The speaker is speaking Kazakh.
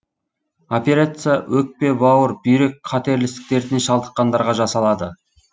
операция өкпе бауыр бүйрек қатерлі ісік дертіне шалдыққандарға жасалады